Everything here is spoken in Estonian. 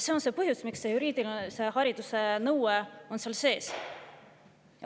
See on põhjus, miks on juriidilise hariduse nõue seal sees.